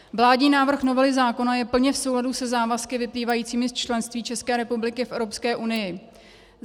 Vládní návrh novely zákona je plně v souladu se závazky vyplývajícími z členství České republiky v Evropské unii.